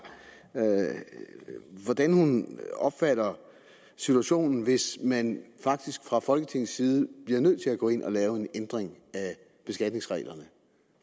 hvordan hun opfatter situationen hvis man faktisk fra folketingets side bliver nødt til at gå ind og lave en ændring af beskatningsreglerne